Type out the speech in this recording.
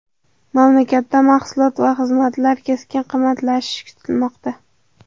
Mamlakatda mahsulot va xizmatlar keskin qimmatlashishi kutilmoqda.